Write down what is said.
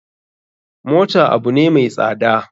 Mota abune mai tsada.